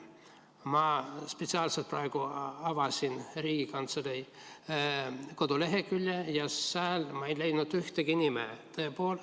Ma spetsiaalselt praegu avasin Riigikantselei kodulehekülje ja sealt ma ei leidnud ühtegi nime.